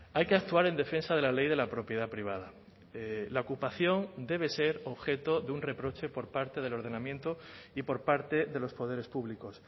hay que actuar en defensa de la ley de la propiedad privada la ocupación debe ser objeto de un reproche por parte del ordenamiento y por parte de los poderes públicos